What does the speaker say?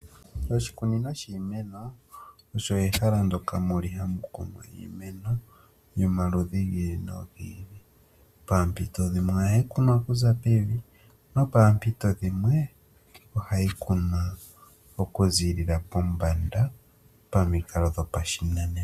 Oshikunino shiimeno osho ehala ndyka mu li ha mu kunwa iimeno, yomaludhi gi ili, nogi ili. Paampito dhimwe, oha yi kunwa ku za pevi, nopaampito dhimwe oha yi kunwa oku ziilila pombanda, pamikalo dhopashinanena.